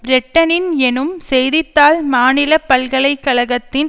பிரிட்டனின் எனும் செய்தி தாள் மாநில பல்கலை கழகத்தின்